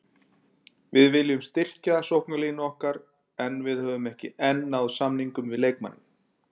Við viljum styrkja sóknarlínu okkar en við höfum ekki enn náð samningum við leikmanninn.